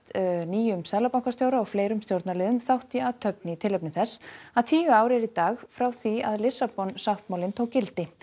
nýjum seðlabankastjóra og fleiri stjórnarliðum þátt í athöfn í tilefni þess að tíu ár eru í dag frá því að Lissabonsáttmálinn tók gildi